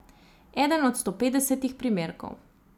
Eden od stopetdesetih primerkov.